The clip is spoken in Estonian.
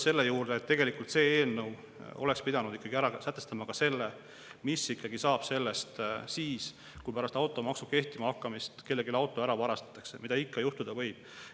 See eelnõu oleks pidanud ära sätestama ka selle, mis saab siis, kui pärast automaksu kehtima hakkamist kellegi auto ära varastatakse, mida ikka juhtuda võib.